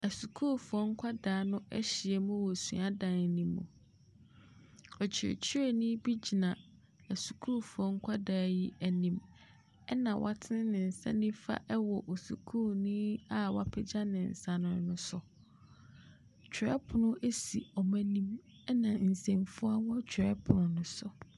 Asukuufoɔ nkwadaa no ahyia wɔ suadan no mu. Ɔkyerɛkyerɛni bi gyina sukuu nkwadaa yi anim, ɛnna watene ne nsa wɔ sukuuni wapagya ne nsa no so. Twerɛpono si wɔn anim, ɛnna nsɛmfua wɔ twerɛ pon no so.